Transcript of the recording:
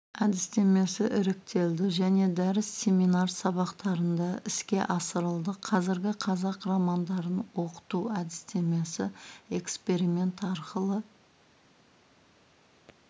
әдістемесі іріктелді және дәріс семинар сабақтарында іске асырылды қазіргі қазақ романдарын оқыту әдістемесі эксперимент арқылы